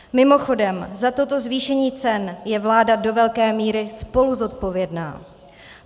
Mimochodem, za toto zvýšení cen je vláda do velké míry spoluzodpovědná.